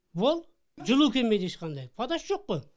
вот жылу келмейді ешқандай водасы жоқ қой